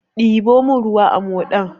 Diɓo mun ruwa da moɗan!